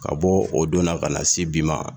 Ka bɔ o donna ka na se bi ma